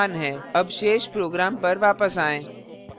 अब शेष program पर वापस आएँ